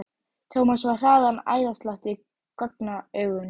Thomas fann hraðan æðaslátt í gagnaugunum.